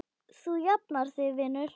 Þú jafnar þig vinur.